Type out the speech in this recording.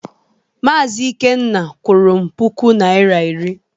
Maazị Ikenna kwụrụ m puku Naịra iri.